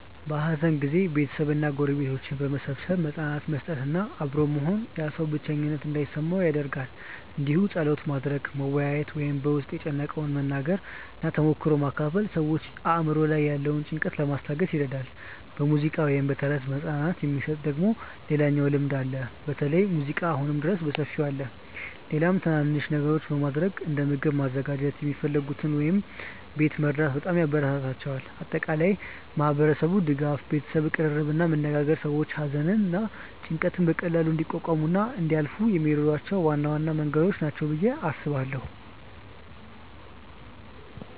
በሐዘን ጊዜ ቤተሰብ እና ጎረቤቶች በመሰብሰብ መጽናናት መስጠት እና አብሮ መሆን ያ ሰው ብቸኝነት እንዳይሰማው ይደረጋል እንዲሁም ጸሎት ማድረግ፣ መወያየት ወይም በ ውስጥን የጨነቀውን መናገር እና ተሞክሮ መካፈል ሰዎችን አእምሮ ላይ ያለውን ጭንቀት ለማስታገስ ይረዳል። በሙዚቃ ወይም በተረት መጽናናት የሚሰጥ ደግሞ ሌላኛው ልምድ አለ በተለይ ሙዚቃ አሁንም ድረስ በሰፊው አለ። ሌላም ትናናንሽ ነገሮች በማረግ እንደ ምግብ ማዘጋጀት የሚፈልጉትን ወይም ቤት መርዳት በጣም ያበራታታቸዋል። በአጠቃላይ ማህበረሰቡ ድጋፍ፣ ቤተሰብ ቅርርብ እና መነጋገር ሰዎች ሐዘንን እና ጭንቀትን በቀላሉ እንዲቋቋሙ እና እንዲያልፏ የሚረዷቸው ዋና መንገዶች ናቸው ብዬ አስባለው።